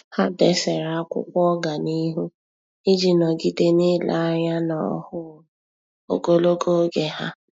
Há dèsere ákwụ́kwọ́ ọ́gànihu iji nọ́gídé n’ílé anya n’ọ́hụ́ụ ogologo oge ha.